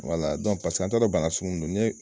an ta don bana sugumun don ni ye.